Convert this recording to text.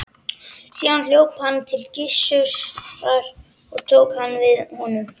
Síðan hljóp hann til Gissurar og tók hann við honum.